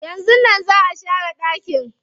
Yanzun nan na share ɗakin.